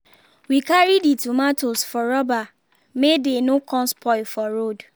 we carry the tomatoes for rubber may dey no con spoil for road